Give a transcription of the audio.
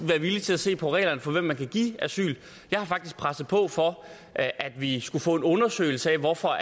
være villige til at se på reglerne for hvem man kan give asyl jeg har faktisk presset på for at at vi skulle få en undersøgelse af hvorfor